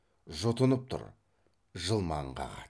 жұтынып тұр жылмаң қағады